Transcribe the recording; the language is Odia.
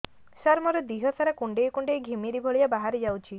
ସାର ମୋର ଦିହ ସାରା କୁଣ୍ଡେଇ କୁଣ୍ଡେଇ ଘିମିରି ଭଳିଆ ବାହାରି ଯାଉଛି